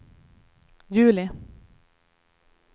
juli